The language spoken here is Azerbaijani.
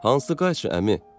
Hansı qayçı əmi?